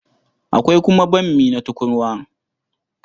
Akwai kuma bammi na tukurwa.